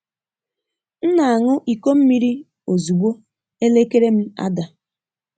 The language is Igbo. M na-aṅụ iko mmiri ozugbo elekere m ada.